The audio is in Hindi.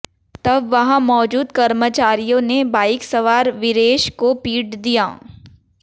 तब वहां मौजूद कर्मचारियों ने बाइक सवार वीरेश को पीट दिया